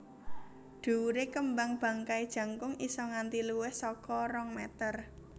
Dhuwure kembang bangkai jangkung isa nganti luwih saka rong meter